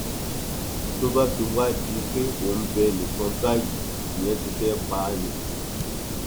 tó bá fi wáá di pé ò ń bẹ ẹnì kan báyìí ìyẹn ti fẹẹ pa á ni